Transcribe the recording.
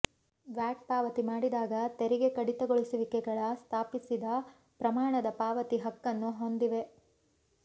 watt ಪಾವತಿ ಮಾಡಿದಾಗ ತೆರಿಗೆ ಕಡಿತಗೊಳಿಸುವಿಕೆಗಳ ಸ್ಥಾಪಿಸಿದ ಪ್ರಮಾಣದ ಪಾವತಿ ಹಕ್ಕನ್ನು ಹೊಂದಿವೆ